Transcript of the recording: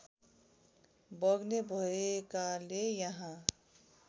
बग्ने भएकाले यहाँ